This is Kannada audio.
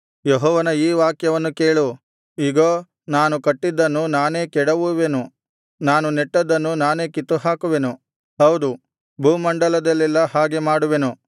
ಯೆಹೋವನ ಈ ವಾಕ್ಯವನ್ನು ಕೇಳು ಇಗೋ ನಾನು ಕಟ್ಟಿದ್ದನ್ನು ನಾನೇ ಕೆಡವುವೆನು ನಾನು ನೆಟ್ಟದ್ದನ್ನು ನಾನೇ ಕಿತ್ತುಹಾಕುವೆನು ಹೌದು ಭೂಮಂಡಲದಲ್ಲೆಲ್ಲಾ ಹಾಗೆ ಮಾಡುವೆನು